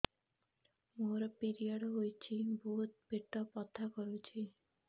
ମୋର ପିରିଅଡ଼ ହୋଇଛି ବହୁତ ପେଟ ବଥା କରୁଛି